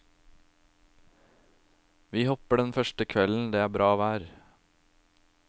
Vi hopper den første kvelden det er bra vær.